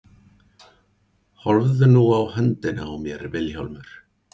Horfðu nú á höndina á mér Vilhjálmur.